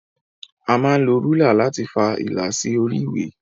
A máa ń lo rúlà láti fa ìlà sí orí ìwé.